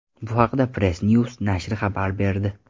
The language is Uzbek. Bu haqda PressNews nashri xabar berdi .